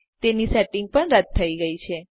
તેની સેટિંગ પણ રદ થઇ છે